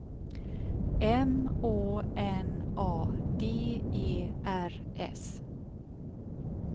M Å N A D E R S